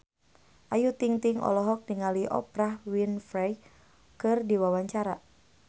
Ayu Ting-ting olohok ningali Oprah Winfrey keur diwawancara